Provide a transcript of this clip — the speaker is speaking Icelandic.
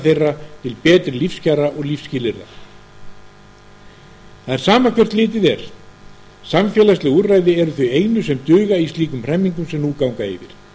þeirra til betri lífskjara og lífsskilyrða það er sama hvert litið er samfélagsleg úrræði eru þau einu sem duga í slíkum hremmingum sem nú ganga yfir